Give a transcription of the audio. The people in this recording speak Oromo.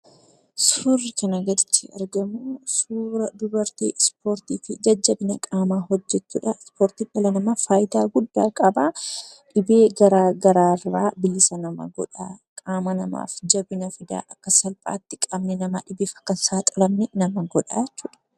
Suurri kanaa gaditti argamu suura dubartii 'ispoortii' fi jajjabina qaamaa hojjettuudha. Ispoortiin dhala namaaf faayidaa guddaa qaba. Dhibee garaa garaa irraa bilisa nama godha. Qaama namaaf jabina fida. Akka salphaatti qaamni namaa dhibeef akka hin saaxilamne nama godha jechuudha.